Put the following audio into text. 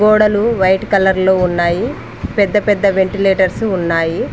గోడలు white colour లో ఉన్నాయి పెద్ద పెద్ద వెంటిలేటర్సు ఉన్నాయి.